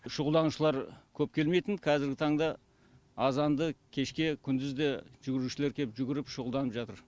шұғылданушылар көп келмейтін қазіргі таңда азанды кешке күндіз де жүгірушілер келіп жүгіріп шұғылданып жатыр